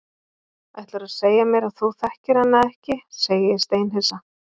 Ætlarðu að segja mér að þú þekkir hana ekki, segi ég steinhissa.